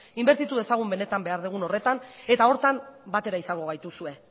inbertitu dezagun benetan behar dugun horretan eta horretan batera izango gaituzue